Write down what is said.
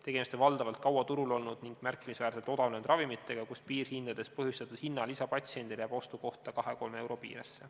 Tegemist on valdavalt kaua turul olnud ning märkimisväärselt odavnenud ravimitega, kus piirhindadest põhjustatud hinnalisa patsiendile jääb ostu kohta kahe-kolme euro piiresse.